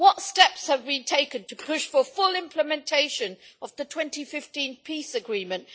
What steps have been taken to push for full implementation of the 2015 peace agreement?